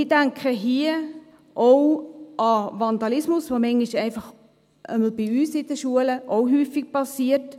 Ich denke hier auch an Vandalismus, der manchmal einfach, jedenfalls bei uns an den Schulen, auch häufig geschieht.